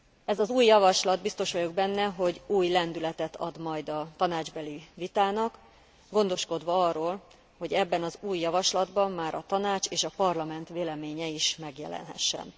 Ez az új javaslat, biztos vagyok benne, hogy új lendületet ad majd a tanácsbeli vitának, gondoskodva arról, hogy ebben az új javaslatban már a Tanács és a Parlament véleménye is megjelenhessen.